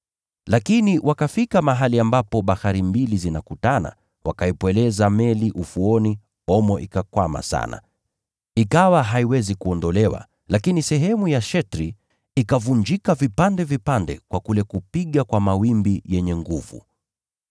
Lakini wakafika mahali ambapo bahari mbili zinakutana, wakaipweleza meli ufuoni, omo ikakwama sana, ikawa haiwezi kuondolewa, lakini sehemu ya shetri ikavunjika vipande vipande kwa kule kupiga kwa mawimbi yenye nguvu.